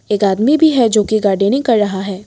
एक आदमी भी है जोकि गार्डेनिंग कर रहा है।